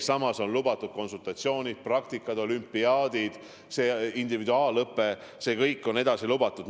Samas on lubatud konsultatsioonid, praktikad, olümpiaadid, individuaalõpe – see kõik on edasi lubatud.